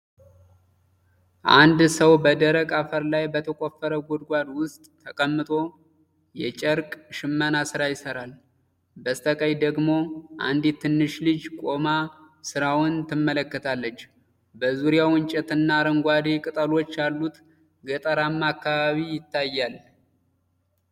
አንድ ሰው በደረቅ አፈር ላይ በተቆፈረ ጉድጓድ ውስጥ ተቀምጦ የጨርቅ ሽመና ስራ ይሠራል። በስተቀኝ ደግሞ አንዲት ትንሽ ልጅ ቆማ ሥራውን ትመለከታለች። በዙሪያው እንጨቶችና አረንጓዴ ቅጠሎች ያሉት ገጠራማ አካባቢ ይታያል።